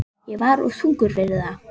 Ég var of þungur fyrir það.